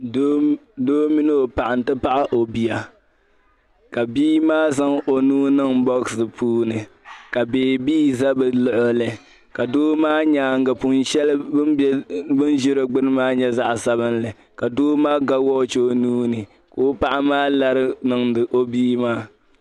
Doo mini o paɣa nti pahi o bia ka bia maa zaŋ o nuu niŋ bɔɣisi puuni ka beebii zaa bɛ luɣili ka doo maa nyaaŋga pun' shɛli gbini bɛ ni ʒia maa nyɛ zaɣ' sabilinli ka doo maa gba wɔchi o nuu ni ka o paɣa maa lari niŋdi o bia maa.